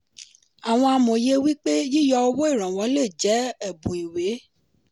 àwọn amòye wípé yíyọ owó ìrànwọ́ lè jẹ́ ẹ̀bùn ìwé.